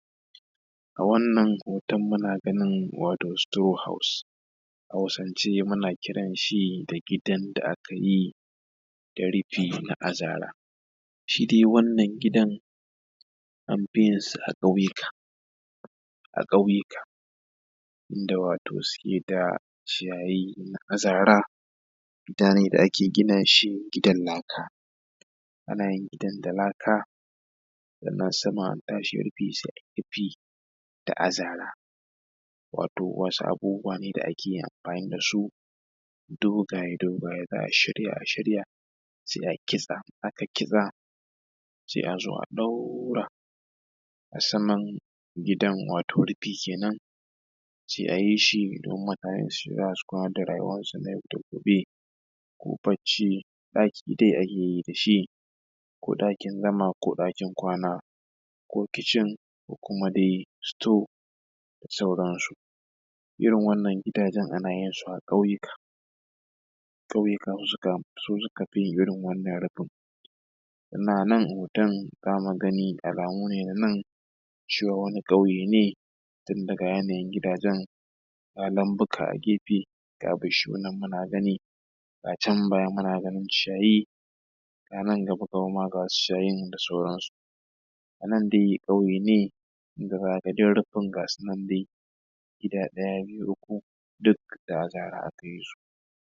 a wannan hoton muna gani wato strow hause a hausance muna kiran shi da gidan da aka yi da rifi na azara shi dai wannan gidan an fi yin sa a ƙauyuka a ƙauyuka inda wato suke da ciyayi na azara gidane da ake gina shi gidan laka ana yin gidan da laka da na saman an tashi rufi da azara wato wasu abubuwa ne da ake yin amfani da su dogaye dogaye za a shirya a shirya sai a kitsa aka kitsa sai a zo a ɗaura a saman gidan wato rufi kenan sai a yi shi domin mutane su shiga su kwana da rayuwan su na yau da gobe ko bacci ɗaki dai ake yi da shi ko ɗakin zama ko ɗakin kwana ko kicin ko kuma dai store da sauransu irin wannan gidajen ana yin su a ƙauyuka ƙauyuka su suka fi yin irin wannan rufin ana nan hoton za mu gani alamu ne na nan cewa wani ƙauye ne tun daga yanayin gidajen a nan muka a gefe ga bishiyoyi nan muna gani a can baya muna ganin ciyayi a nan gaba gaba ma ga wasu ciyayin da sauransu a nan dai ƙauye da gidan rufin gasu nan dai gida ɗaya biyu uku duk da azara aka yi su